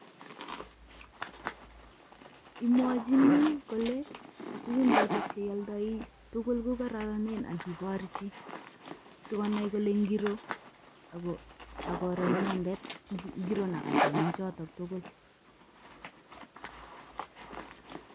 Imwochini kole tugul cheoldoi ko kororonen ak iborchii,,sikonai kole ingiroo ak koroo inendet nekacham en choton tugul.